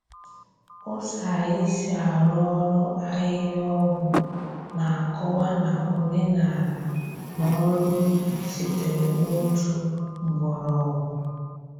Ụzọ anyị si arụ ọrụ ahihia-ọgwụ na-akọwa na omenala na ọrụ ubi sitere n’otu mgbọrọgwụ.